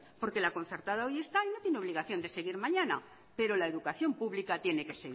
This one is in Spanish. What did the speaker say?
porque la concertada hoy está y no tienen obligación de seguir mañana pero la educación pública tiene que